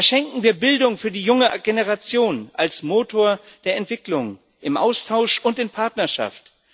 Verschenken wir Bildung für die junge Generation als Motor der Entwicklung im Austausch und in Partnerschaft!